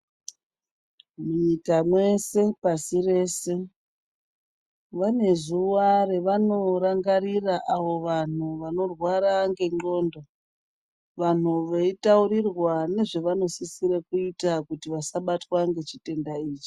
Munyika mese pasi rese vane zuva ravanorangarira avo vanhu vanorwara ngendxondo vanhu veitaurirwa nezvevanosisire kuita kuti vasabatwa ngechitenda ichi.